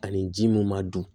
Ani ji mun ma dun